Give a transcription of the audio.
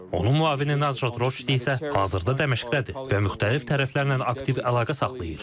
Onun müavini Nazrat Roşdi isə hazırda Dəməşqdədir və müxtəlif tərəflərlə aktiv əlaqə saxlayır.